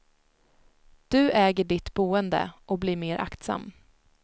Du äger ditt boende och blir mer aktsam.